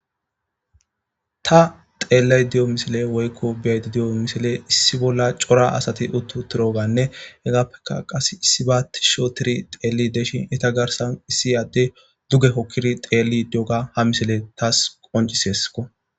ta xeellay di7o misile woykko biyaydi di7o misile issi bolla cora asati uttu tiroganne hegappeka qas issi baati shootiri teelli deshi eta garsan issi adde duge hokkiri teelli dioga ha misile taas qoncisesko